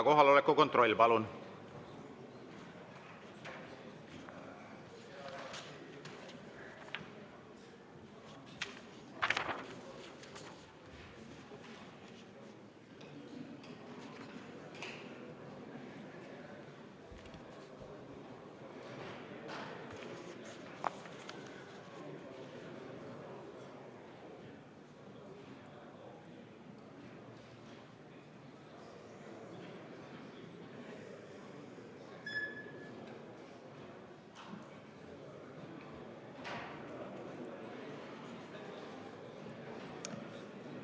Kohaloleku kontroll, palun!